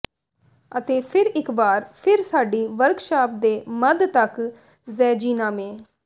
ਅਤੇ ਫਿਰ ਇਕ ਵਾਰ ਫਿਰ ਸਾਡੀ ਵਰਕਸ਼ਾਪ ਦੇ ਮੱਧ ਤੱਕ ਜ਼ੈਜੀਨਾਮੇ